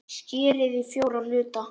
Skerið í fjóra hluta.